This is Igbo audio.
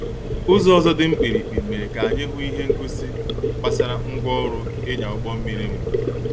Ụzọ ọzọ dị mkpirikpi mere ka anyị hụ ihe ngosi gbasara ngwa orụ ịnya ụgbọ mmiri mbụ